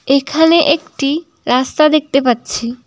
এইখানে একটি রাস্তা দেখতে পাচ্ছি।